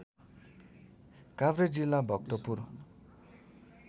काभ्रे जिल्ला भक्तपुर